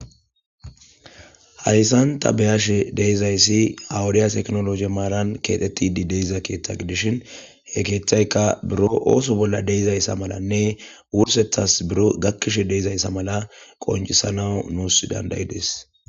Hayssan ta beyashe deyzayssi awudiya teknoloje maaran keexetidi deiza keeththa gidishin he keeththayka buro ooso bolla deizayssa malanne wursethas biro gakkishe deezayssa mala qonjisanawu nuusi dandayides.